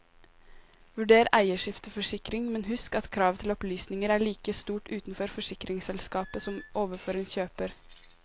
Vurder eierskifteforsikring, men husk at kravet til opplysninger er like stort overfor forsikringsselskapet som overfor en kjøper.